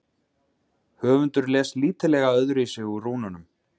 Höfundur les lítillega öðruvísi úr rúnunum.